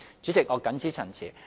主席，我謹此陳辭。